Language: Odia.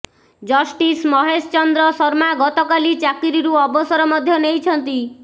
ଜଷ୍ଟିସ୍ ମହେଶ ଚନ୍ଦ୍ର ଶର୍ମା ଗତକାଲି ଚାକିରିରୁ ଅବସର ମଧ୍ୟ ନେଇଛନ୍ତି